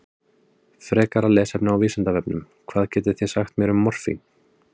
Frekara lesefni á Vísindavefnum: Hvað getið þið sagt mér um morfín?